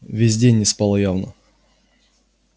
весь день не спала явно